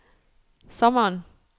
sommeren